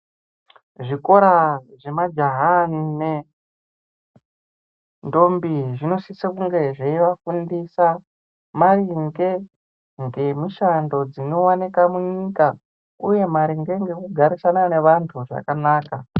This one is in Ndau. Zvikora zvemajaha nenendombi ,zvinosisa kunge zveivafundisa , maringe ngemishando, dzinowanika munyika, uye maringe ngekugarisana navamtu zvakanaka.